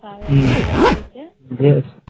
তা ঐভাবে তৈরী করা হয়ছে